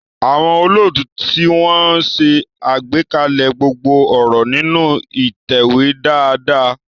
Àwọn olóòtú tí wọ́n ń ṣe àgbékalẹ̀ gbogbo ọ̀rọ̀ nínú ìtẹ̀wé dáadáa.